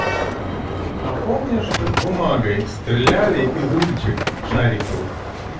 а помнишь как бумагой стреляли из ручек шариковых